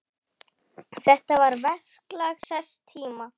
Þetta var verklag þess tíma.